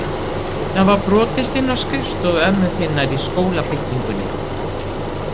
Það var brotist inn á skrifstofu ömmu þinnar í skólabyggingunni.